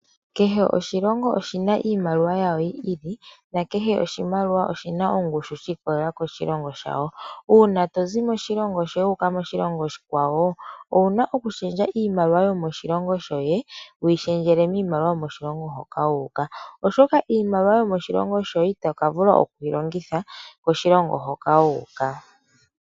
Kehe oshilongo oshina iimaliwa yaasho yi ili nakehe oshimaliwa oshina ongushu shiikwatelela koshilongo shasho. Uuna tozi moshilongo sheni wuuka koshilongo oshikwawo owuna okushendja iimaliwa yomoshilongo shoye wiishendjele miimaliwa yoshilongo shoka toyi, oshoka otovulu okulongitha iimaliwa yomoshilongo shoye ngele wayi koshilongo shimwe.